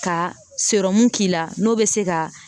Ka k'i la n'o bɛ se ka